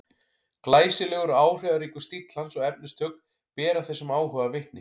Glæsilegur og áhrifaríkur stíll hans og efnistök bera þessum áhuga vitni.